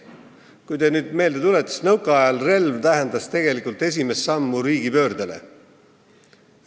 Tuletage nüüd meelde, nõukaajal tähendas relv tegelikult esimest sammu riigipöörde poole.